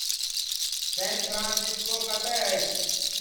सैन Francisco कतय अछि